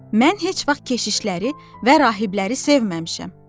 Mən heç vaxt keşişləri və rahibləri sevməmişəm.